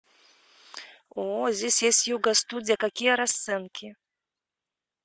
о здесь есть йога студия какие расценки